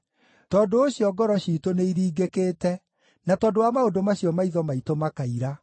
Tondũ ũcio ngoro ciitũ nĩiringĩkĩte; na tondũ wa maũndũ macio maitho maitũ makaira,